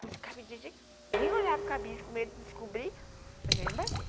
Puts, o cabide... Nem olhar para o cabide com medo de descobrir, já vem me bater.